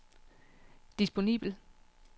disponibel